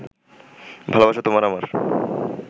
ভালোবাসা তোমার আমার